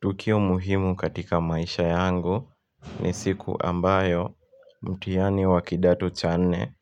Tukio muhimu katika maisha yangu ni siku ambayo mtihani wa kidato cha nne